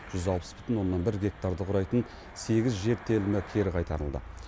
жүз алпыс бүтін оннан бір гектарды құрайтын сегіз жер телімі кері қайтарылды